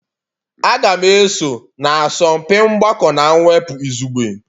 Aga m eso na asọmpi mgbakọ na mwepụ izugbe.